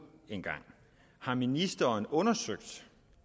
en gang har ministeren undersøgt